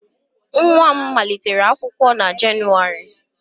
Nwa m malitere akwụkwọ na Jenụwarị